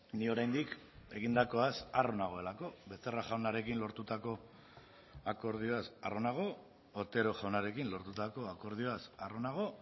ni oraindik egindakoaz harro nagoelako becerra jaunarekin lortutako akordioaz harro nago otero jaunarekin lortutako akordioaz harro nago